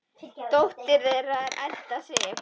Dóttir þeirra er Edda Sif.